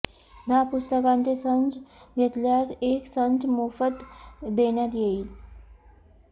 दहा पुस्तकांचे संच घेतल्यास एक संच मोफत देण्यात येईल